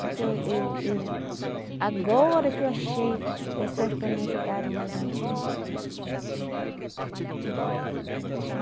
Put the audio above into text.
Porque eu eu eu... agora que eu achei pessoas para me ajudarem, mas antes não.